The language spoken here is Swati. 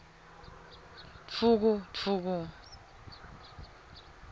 dvukudvuku